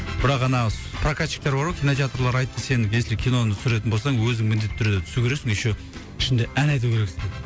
бірақ ана с прокатщиктер бар ғой кинотеатрлар айтты сен если киноны түсіретін болсаң өзің міндетті түрде түсу керексің еще ішінде ән айту керексің деді